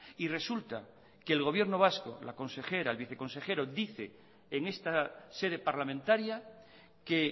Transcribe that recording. y resulta que el gobierno vasco la consejera el viceconsejero dice en esta sede parlamentaria que